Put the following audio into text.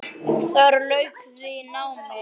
Þar lauk því námi.